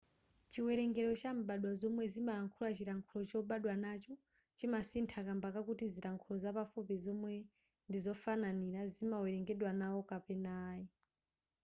chiwerengero cha mbadwa zomwe zimalankhula chilankhulo chobadwa nacho chimasintha kamba kakuti zilankhulo zapafupi zomwe ndizofananira zimawerengedwa nawo kapena ayi